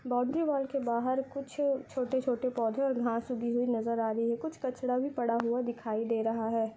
Boundary wall के बाहर कुछ छोटे-छोटे पौधे और घास उगी हुई नज़र आ रही है कुछ कचड़ा भी पड़ा हुआ दिखाई दे रहा है।